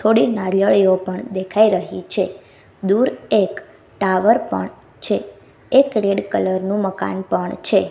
થોડી નારિયેળીઓ પણ દેખાય રહી છે દૂર એક ટાવર પણ છે એક રેડ કલર નુ મકાન પણ છે.